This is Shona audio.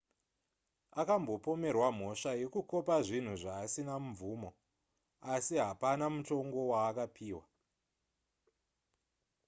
akambopomerwa mhosva yekukopa zvinhu zvaasina mvumo asi hapana mutongo waakapiwa